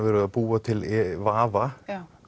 að búa til vafa